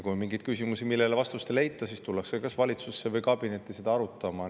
Kui on mingeid küsimusi, millele vastust ei leita, siis tullakse valitsuskabinetti neid arutama.